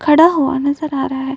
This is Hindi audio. खड़ा हुआ नजर आ रहा है।